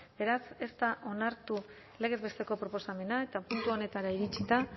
beraz ez da onartu legez besteko proposamena eta puntu honetara iritsita